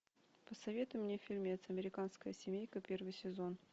посоветуй мне фильмец американская семейка первый сезон